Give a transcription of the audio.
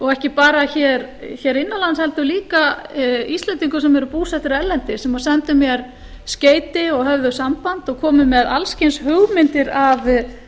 og ekki bara hér innanlands heldur líka íslendingum sem eru búsettir erlendis sem sendu mér skeyti og höfðu samband og komu með alls kyns hugmyndir